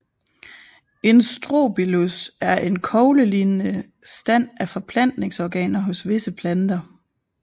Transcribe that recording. En Strobilus er en koglelignende stand af forplantningsorganer hos visse planter